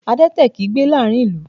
Adẹ́tẹ̀ kìí gbé láàárín ìlú